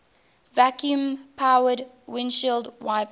vacuum powered windshield wipers